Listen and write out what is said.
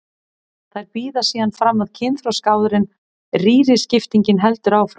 Þær bíða síðan fram að kynþroska áður en rýriskiptingin heldur áfram.